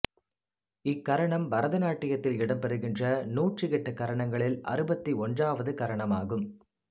இக்கரணம் பரதநாட்டியத்தில் இடம்பெறுகின்ற நூற்றியெட்டு கரணங்களில் அறுபத்து ஒன்றாவது கரணமாகும்